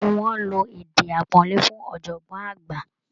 Gbogbo wọn lo èdè àpọ́nlé fún ọ̀jọ̀gbọ́n àgbà